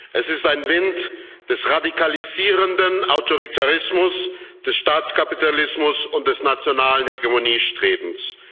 Es ist ein Wind des radikalisierenden Autoritarismus, des Staatskapitalismus und des nationalen Hegemoniestrebens.